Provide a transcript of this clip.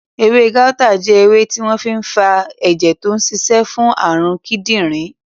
Ewé gáútà jẹ́ ewé tí wọ́n fi n fa ẹ̀jẹ̀ tó n ṣiṣẹ́ fún àrùn kídìnrín